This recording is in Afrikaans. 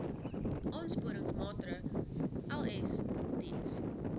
aansporingsmaatre ls diens